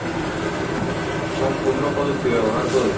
সম্পূর্ণ প্রযুক্তি ব্যাবহার করে।